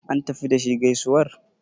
an tafi da shi gaisuwar?